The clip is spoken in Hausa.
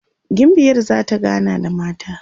gimbiyar zata gana da mata